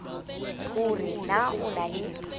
hore na o na le